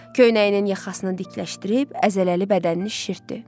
Köynəyinin yaxasını dikləşdirib, əzələli bədənini şişirtdi.